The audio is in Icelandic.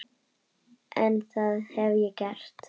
En það hef ég gert.